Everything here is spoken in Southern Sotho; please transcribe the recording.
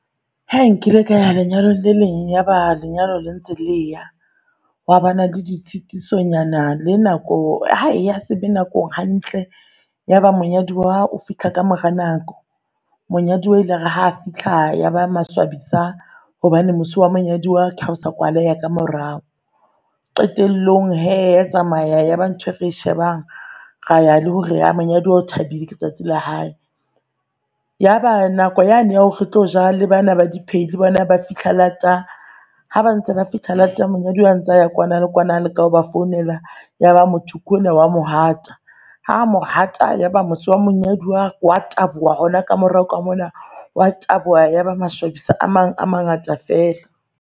Hai nkile kaya lenyalo le leng? Yaba lenyalo la ntse leya hwa bana le di tshetisonyana. Le nako hae ya sebe nakong hantle. Ya ba monyaduwa o fihla ka mora nako, monyaduwa ile are ha fihla yaba maswabisa hobane mose wa monyaduwa ke haosa kwaleha ka morao. Qetellong hee ya tsamaya elyaba ntho e re shebang raya le hore ya monyaduwa o thabile ke tsatsi la hae, Yaba nako yane ya hore re tlo ja le bana ba di pheo le bona ba fihla lata ha ba ntse ba fihla lata monyaduwa an tse a eya kwana le kwana. A le ka ho ba founela yaba motho ke ona wa mo hata. Ha mo hata yaba mose wa monyaduwa wa taboha hona ka morao ka mona wa taboha. Yaba masolwabisa a mang a mangata fela.